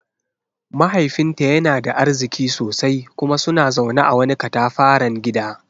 Mahaifinta yana da arziki sosai kuma suna zaune a wani katafaren gida.